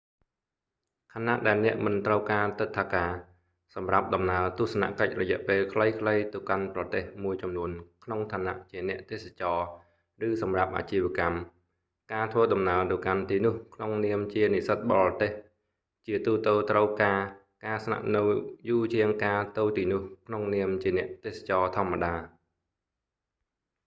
ខណៈដែលអ្នកមិនត្រូវការទិដ្ឋាការសម្រាប់ដំណើរទស្សនកិច្ចរយៈពេលខ្លីៗទៅកាន់ប្រទេសមួយចំនួនក្នុងឋានៈជាអ្នកទេសចរឬសម្រាប់អាជីវកម្ម ការធ្វើដំណើរទៅកាន់ទីនោះក្នុងនាមជានិស្សិតបរទេស ជាទូទៅត្រូវការការស្នាក់នៅយូរជាងការទៅទីនោះក្នុងនាមជាអ្នកទេសចរធម្មតា